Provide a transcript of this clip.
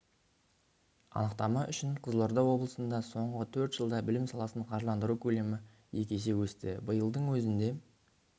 анықтама үшін қызылорда облысында соңғы төрт жылда білім саласын қаржыландыру көлемі екі есе өсті биылдың өзінде